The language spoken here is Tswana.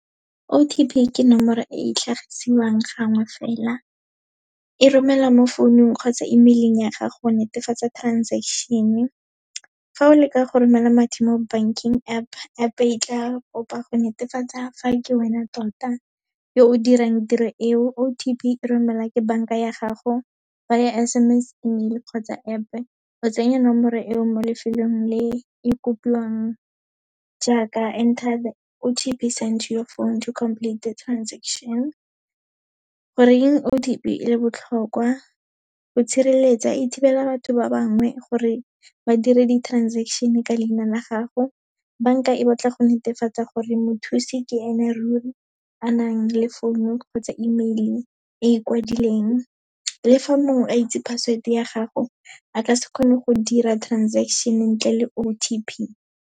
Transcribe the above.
O_T_P ke nomoro e e tlhagiswang gangwe fela, e romela mo founung kgotsa email-ing ya gago, wa netefatsa transaction-e. Fa o leka go romela madi mo banking App, App e tla kopa go netefatsa fa ke wena tota yo o dirang tiro eo, O_T_P e romela ka banka ya gago, via S_M_S, email kgotsa App-e, o tsenya nomoro eo mo lefelong le e kopiwang, jaaka enter the O_T_P sent to your phone to complete the transaction. Goreng O_T_P e le botlhokwa, go tshireletsa, e thibela batho ba bangwe gore ba dire di transaction-e ka leina la gago, banka e batla go netefatsa gore mothusi ke ene ruri, a nang le phone-o kgotsa email-e e kwadileng. Le fa mongwe a itse password-e ya gago, a ka se kgone go dira transaction-e ntle le O_T_P.